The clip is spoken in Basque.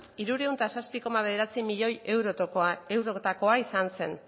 hirurehun eta zazpi koma bederatzi milioi eurotakoa izan zen